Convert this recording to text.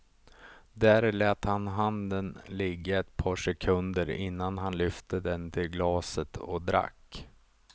Där lät han handen ligga ett par sekunder innan han lyfte den till glaset och drack.